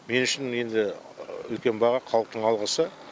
мен үшін енді үлкен баға халықтың алғысы